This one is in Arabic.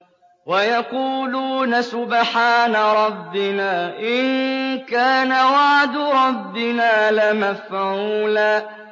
وَيَقُولُونَ سُبْحَانَ رَبِّنَا إِن كَانَ وَعْدُ رَبِّنَا لَمَفْعُولًا